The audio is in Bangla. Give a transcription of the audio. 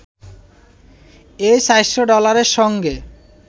এই ৪০০ ডলারের সঙ্গে